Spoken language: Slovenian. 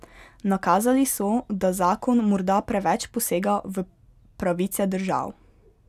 Nakazali so, da zakon morda preveč posega v pravice držav.